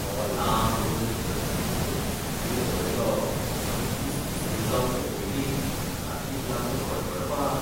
तो लांबरुंद धष्टपुष्ट कुस्तीगीर पळयलो आनी कुस्ती सुरू जावचे पयलींच कार्तिक लागलो कडकडपाक.